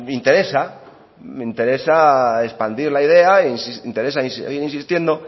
interesa expandir la idea interesa en seguir insistiendo